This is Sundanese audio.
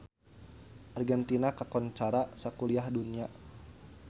Argentina kakoncara sakuliah dunya